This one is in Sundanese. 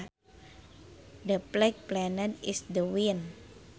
The flag flapped in the wind